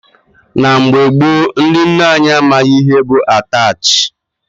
Na mgbe gboo, ndị nne anyị amaghị ihe bụ Ataach.